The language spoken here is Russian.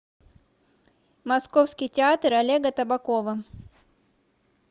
московский театр олега табакова